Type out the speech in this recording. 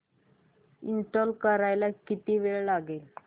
install करायला किती वेळ लागेल